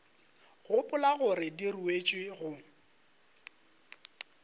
gopola gore di ruetšwe go